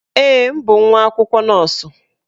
Ee, m bụ nwa akwụkwọ nọọsụ.